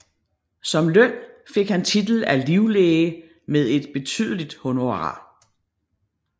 Som løn fik han titel af livlæge med et betydeligt honorar